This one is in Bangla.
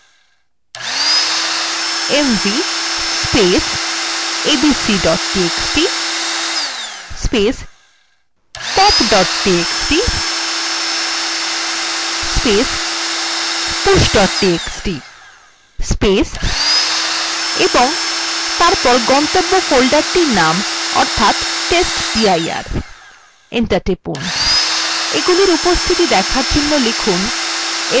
এর জন্য আমরা লিখব mv abc txt pop txt push txt এবং তারপর গন্তব্য ফোল্ডারটির name অর্থাৎ testdir enter টিপুন